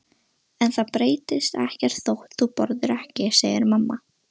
En það breytist ekkert þótt þú borðir ekki, segir mamma.